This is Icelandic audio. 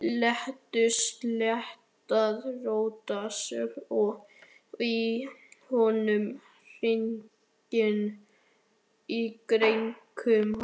Létu sleðann rótast í honum, hringinn í kringum hann.